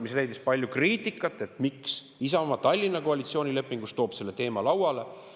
See leidis palju kriitikat, et miks Isamaa toob Tallinna koalitsioonilepingu selle teema lauale.